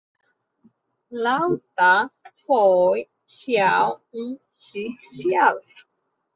Láta þau sjá um sig sjálf.